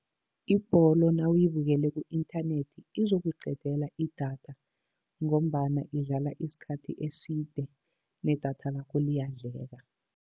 Ibholo nawuyibukele ku-inthanethi izokuqedela idatha, ngombana idlala isikhathi eside nedatha lakho liyadleka.